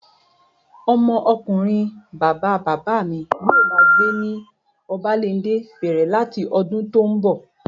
Ọmọ ọkunrin bàbá bàbá mi yóò máa gbé ní Obalende bẹ̀rẹ̀ láti ọdún tó n bọ̀